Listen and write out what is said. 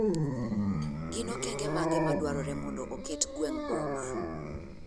Gin okeng'e mage ma dwarore mondo oket gweng' boma?